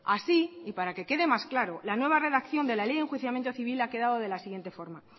así y para que quede más claro la nueva redacción de la ley de enjuiciamiento civil ha quedado de la siguiente forma